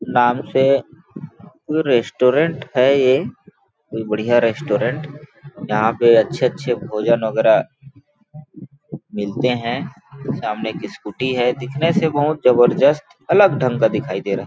नाम से कोई रेस्टोरेंट है ये कोई बढ़िया रेस्टोरेंट यहां पे अच्छे-अच्छे भोजन वगैरह मिलते हैं सामने एक स्कूटी है दिखने से बहुत जबरदस्त अलग ढंग का दिखाई दे रहा है।